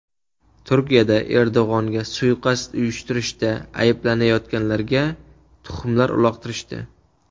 Turkiyada Erdo‘g‘onga suiqasd uyushtirishda ayblanayotganlarga tuxumlar uloqtirishdi.